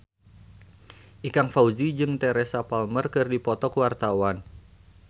Ikang Fawzi jeung Teresa Palmer keur dipoto ku wartawan